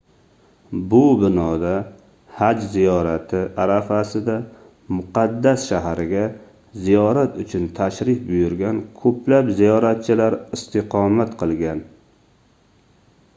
bu binoda haj ziyorati arafasida muqaddas shaharga ziyorat uchun tashrif buyurgan koʻplab ziyoratchilar istiqomat qilgan